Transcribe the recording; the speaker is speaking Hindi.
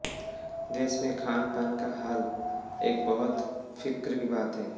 देश में खानपान का हाल एक बहुत फिक्र की बात है